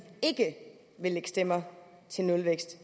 at lægge stemmer til nulvækst